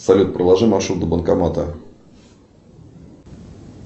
салют проложи маршрут до банкомата